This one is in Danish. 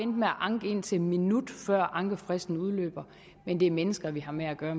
med at anke indtil en minut før ankefristen udløber men det er mennesker vi har med at gøre